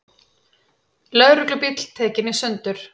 Lögreglubíll tekinn í sundur